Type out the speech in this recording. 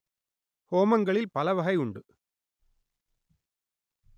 ஹோமங்களில் பல வகை உண்டு